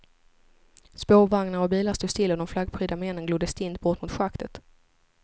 Spårvagnar och bilar stod stilla och de flaggprydda männen glodde stint bort mot schaktet.